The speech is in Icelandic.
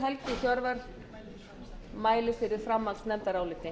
virðulegur forseti ég mæli fyrir framhaldsnefndaráliti